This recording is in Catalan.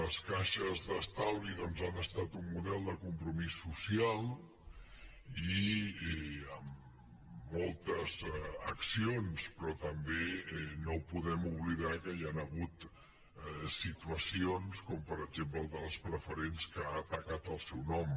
les caixes d’estalvi doncs han estat un model de compromís social i amb moltes accions però també no podem oblidar que hi han hagut situacions com per exemple el de les preferents que ha tacat el seu nom